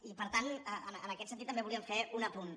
i per tant en aquest sentit també volíem fer un apunt